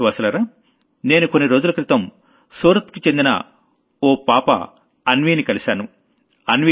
ప్రియమైన దేశవాసులారా నేను కొన్ని రోజుల క్రితం సూతర్ కి చెందిన ఓ పిల్ల అన్వీని కలిశాను